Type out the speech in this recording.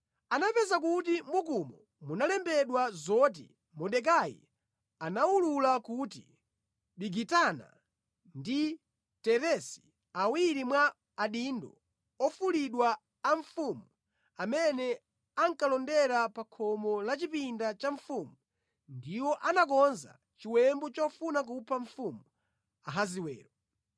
Anapeza kuti mʼbukumo munalembedwa zoti Mordekai anawulula kuti Bigitana ndi Teresi, awiri mwa adindo ofulidwa a mfumu amene ankalondera pa khomo la chipinda cha mfumu ndiwo anakonza chiwembu chofuna kupha mfumu Ahasiwero.